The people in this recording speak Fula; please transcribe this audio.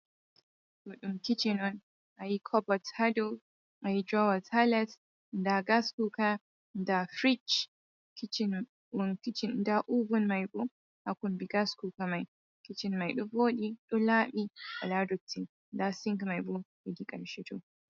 Ɗo ɗum kicin on. Ayi kobot ha dou, ayi drowas ha les, nda gas kuuka, nda fric, kicin on, ɗum kicin. Nda ovun mai bo haa kombi gas kuuka mai. Kicin mai ɗo vooɗi, ɗo laaɓi, wala dotti. Nda sink mai bo, hedi ƙarshe to.